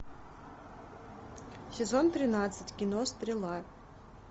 сезон тринадцать кино стрела